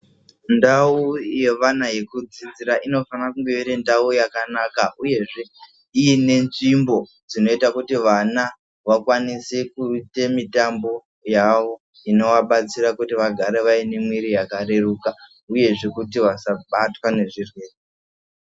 Ndau yevana yekudzidzira inofana kunge iri ndau yakanaka uyezve ine nzvimbo dzinoita kuti vana vakwanise kuite mitombo yavo inovabatsira kuti vagare vane mwiri yakareruka uyezve kuti vasabatwa nezvirwere.